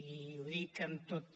i ho dic amb tota